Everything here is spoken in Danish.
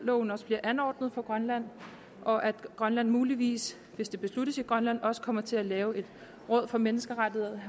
loven også bliver anordnet for grønland og at grønland muligvis hvis det besluttes i grønland også kommer til at lave et råd for menneskerettigheder